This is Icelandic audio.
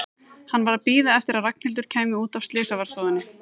Hann var að bíða eftir að Ragnhildur kæmi út af slysavarðstofunni.